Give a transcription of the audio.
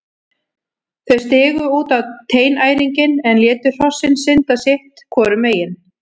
Þau stigu út á teinæringinn en létu hrossin synda sitt hvoru megin.